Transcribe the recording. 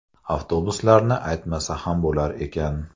Avtobuslarni aytmasa ham bo‘lar ekan.